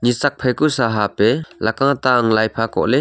esuck phaku sahup ei lakka ta angley laipha ta kohler.